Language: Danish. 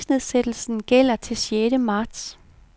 Prisnedsættelsen gælder til sjette marts.